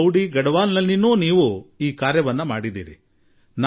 ನೀವು ನನಗೆ ಸಂದೇಶ ನೀಡಿದ್ದೀರಿ ಮತ್ತು ಪೌಡಿಗಡವಾಲಾ ಗುಡ್ಡಗಾಡು ಪ್ರದೇಶ